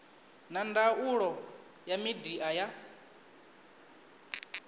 na ndangulo ya midia ya